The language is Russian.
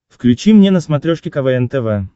включи мне на смотрешке квн тв